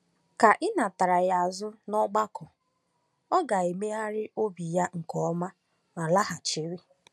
Ka e nata ya azụ n’ọgbakọ, ọ ga-emegharị obi ya nke ọma ma laghachiri.